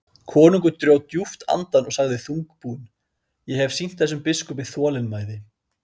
Konungur dró djúpt andann og sagði þungbúinn:-Ég hef sýnt þessum biskupi þolinmæði.